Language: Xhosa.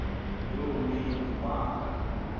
loo mini wanga